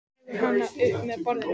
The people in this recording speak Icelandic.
Hann dregur hana upp að borðinu.